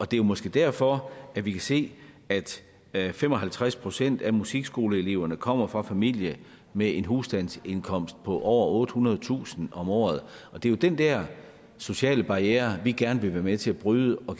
det er måske derfor at vi kan se at fem og halvtreds procent af musikskoleeleverne kommer fra familier med en husstandsindkomst på over ottehundredetusind om året det er jo den der sociale barriere vi gerne vil være med til at bryde og